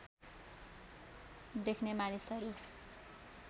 देख्ने मानिसहरू